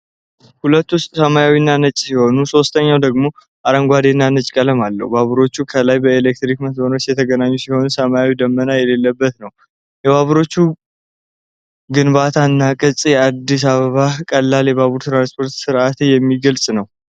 ሁለቱ ሰማያዊና ነጭ ሲሆኑ፣ ሦስተኛው ደግሞ አረንጓዴና ነጭ ቀለም አለው። ባቡሮቹ ከላይ በኤሌክትሪክ መስመሮች የተገናኙ ሲሆን፣ ሰማዩ ደመና የሌለበት ነው። የባቡሮቹ ግንባታና ቅርፅ የአዲስ አበባን ቀላል የባቡር ትራንስፖርት ሥርዓት የሚገልጽ ነው?